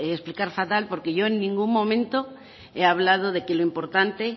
de explicar fatal porque yo en ningún momento he hablado de que lo importante